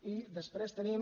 i després tenim